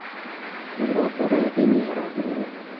белокурая венера